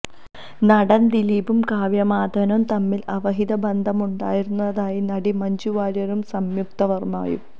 നടന് ദിലീപും കാവ്യാ മാധവനും തമ്മില് അവിഹിത ബന്ധമുണ്ടായിരുന്നതായി നടി മഞ്ജു വാര്യരും സംയുക്ത വര്മ്മയും